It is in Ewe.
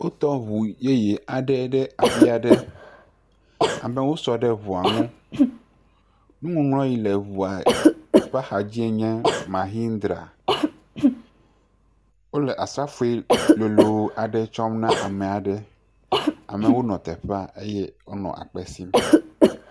Wotɔ ŋu yeye aɖe ɖe afi aɖe amewo sɔ ɖe ŋu ŋu nuŋɔŋlɔ si kle ŋua ƒe axa dzi nye Mahindra, wole asafui lolo aɖe tsɔm na ame aɖe, amewo nɔ teƒea eye wonɔ akpe sim.